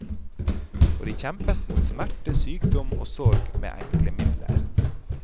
Og de kjempet mot smerte, sykdom og sorg med enkle midler.